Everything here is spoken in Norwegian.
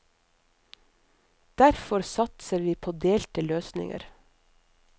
Derfor satser vi på delte løsninger.